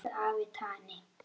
Elsku afi Tani.